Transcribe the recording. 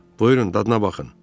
Buyurun, dadına baxın.